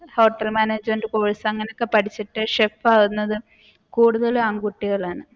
hotel management course അങ്ങനെ ഒക്കെ പഠിച്ചിട്ട് chef ആവുന്നത് കൂടുതൽ ആൺകുട്ടികളാണ്.